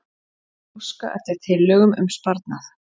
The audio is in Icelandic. Óska eftir tillögum um sparnað